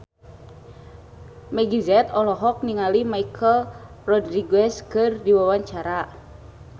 Meggie Z olohok ningali Michelle Rodriguez keur diwawancara